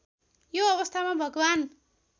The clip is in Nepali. यो अवस्थामा भगवान्